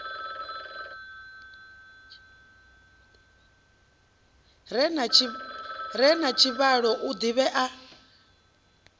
re na tshivhalo o ḓivhea